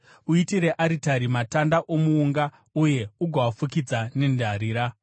Uitire aritari matanda omuunga uye ugoafukidza nendarira.